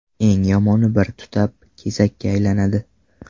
Eng yomoni bir tutab, kesakka aylanadi.